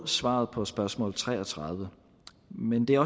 svaret på spørgsmål tre og tredive men det er